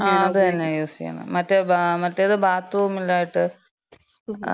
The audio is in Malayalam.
ആ അതെന്നാണ് യൂസ് ചെയ്യണത്.മറ്റെ, മറ്റേത് ബാത്ത്റൂമിലായിട്ട്.